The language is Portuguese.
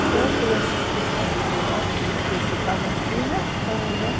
Até eu trouxe o atestado de óbito, porque se está na fila, então, né?